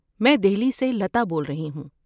میں دہلی سے لتا بول رہی ہوں۔